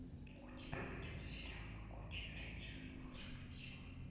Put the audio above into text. у тебя найдется сериал могучие рейнджеры волшебная сила